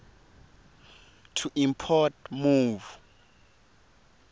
to import move